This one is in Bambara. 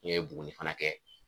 N ye Buguni fana kɛ